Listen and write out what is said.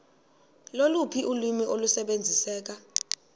loluphi ulwimi olusebenziseka